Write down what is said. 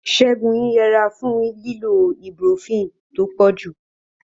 Ségun ń yẹra fún lílo ibuprofen tó pọ̀jù.